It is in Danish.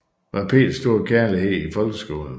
Var Peders store kærlighed i folkeskolen